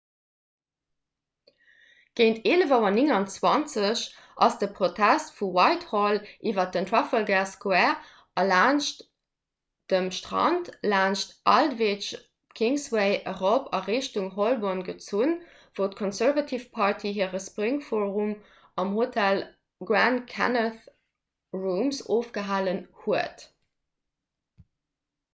géint 11.29 auer ass de protest vu whitehall iwwer den trafalgar square a laanscht dem strand laanscht aldwych d'kingsway erop a richtung holborn gezunn wou d'conservative party hire spring forum am hotel grand connaught rooms ofgehalen huet